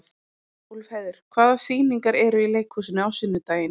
Úlfheiður, hvaða sýningar eru í leikhúsinu á sunnudaginn?